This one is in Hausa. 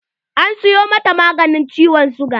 An siyo mata maganin ciwon siga.